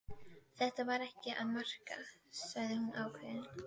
Þetta var ekki að marka, sagði hún ákveðin.